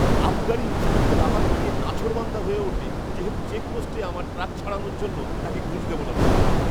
আবগারি ইনস্পেক্টর আমাকে নিয়ে নাছোড়বান্দা হয়ে ওঠে যেহেতু চেকপোস্টে আমার ট্রাক ছাড়ানোর জন্য তাকে ঘুষ দেব না বলেছি।